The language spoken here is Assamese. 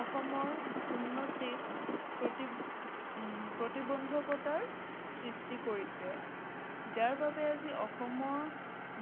অসমৰ উন্নতিত প্ৰতিবন্ধকতাৰ সৃষ্টি কৰিছে। যাৰবাবে আজি অসমৰ